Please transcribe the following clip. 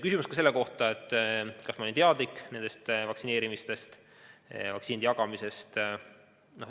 Küsimus oli ka selle kohta, kas ma olin teadlik nendest vaktsineerimistest, vaktsiinide jagamisest.